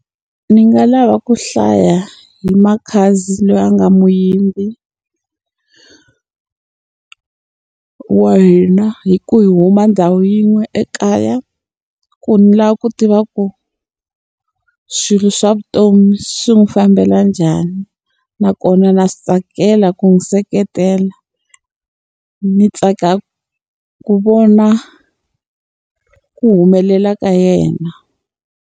Ni nga lava ku hlaya hi Makhadzi loyi a nga muyimbi wa hina hikuva hi huma ndhawu yin'we ekaya. Ku ni lava ku tiva ku swilo swa vutomi swi n'wi fambela njhani. Nakona na swi tsakela ku n'wi seketela, ni tsaka ku vona ku humelela ka yena.